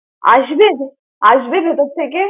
আসবে। আসবে ভেতর থেকে?